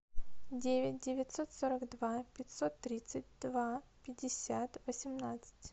девять девятьсот сорок два пятьсот тридцать два пятьдесят восемнадцать